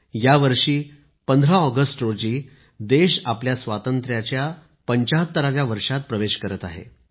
यावर्षी 15 ऑगस्ट रोजी देश आपल्या स्वातंत्र्याच्या 75 व्या वर्षात प्रवेश करत आहे